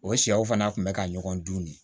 O sɛw fana kun bɛ ka ɲɔgɔn dun de